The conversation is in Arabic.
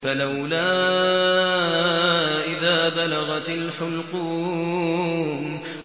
فَلَوْلَا إِذَا بَلَغَتِ الْحُلْقُومَ